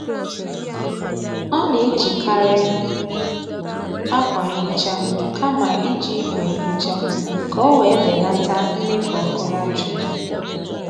Ọ na-ejikari akwa nhicha kama iji ìgwè nhicha ka ọ wee belata mmefu ọkụ latrik